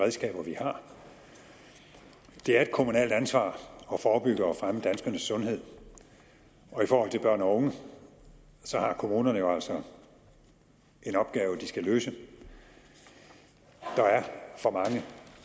redskaber vi har det er et kommunalt ansvar at forebygge og fremme danskernes sundhed og i forhold til børn og unge har kommunerne jo altså en opgave de skal løse der er for mange